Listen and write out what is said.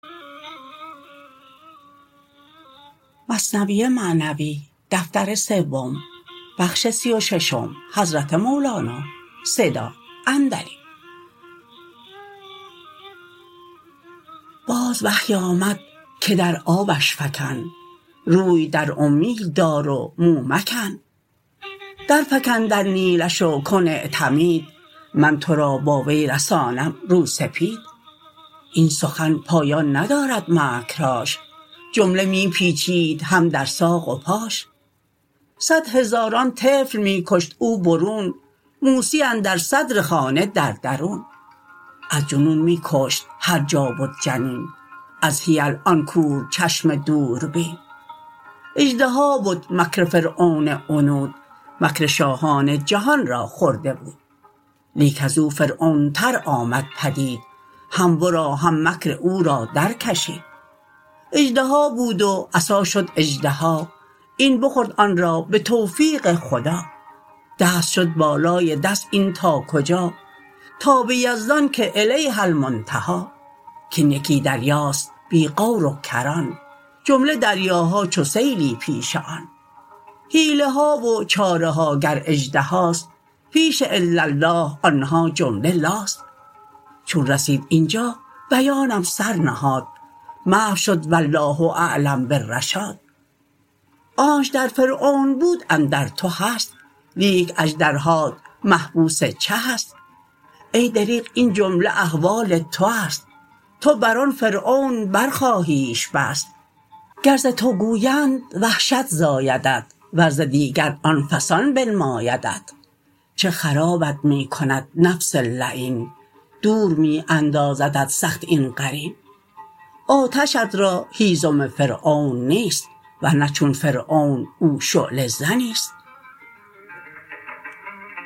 باز وحی آمد که در آبش فکن روی در اومید دار و مو مکن در فکن در نیلش و کن اعتمید من تو را با وی رسانم رو سپید این سخن پایان ندارد مکرهاش جمله می پیچید هم در ساق و پاش صد هزاران طفل می کشت او برون موسی اندر صدر خانه در درون از جنون می کشت هر جا بد جنین از حیل آن کورچشم دوربین اژدها بد مکر فرعون عنود مکر شاهان جهان را خورده بود لیک ازو فرعون تر آمد پدید هم ورا هم مکر او را در کشید اژدها بود و عصا شد اژدها این بخورد آن را به توفیق خدا دست شد بالای دست این تا کجا تا به یزدان که الیه المنتهی کان یکی دریاست بی غور و کران جمله دریاها چو سیلی پیش آن حیله ها و چاره ها گر اژدهاست پیش الا الله آنها جمله لاست چون رسید اینجا بیانم سر نهاد محو شد والله اعلم بالرشاد آنچ در فرعون بود اندر تو هست لیک اژدرهات محبوس چهست ای دریغ این جمله احوال تو است تو بر آن فرعون بر خواهیش بست گر ز تو گویند وحشت زایدت ور ز دیگر آفسان بنمایدت چه خرابت می کند نفس لعین دور می اندازدت سخت این قرین آتشت را هیزم فرعون نیست ورنه چون فرعون او شعله زنیست